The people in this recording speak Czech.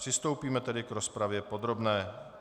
Přistoupíme tedy k rozpravě podrobné.